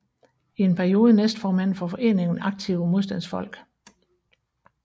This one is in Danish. I en periode næstformand for foreningen Aktive Modstandsfolk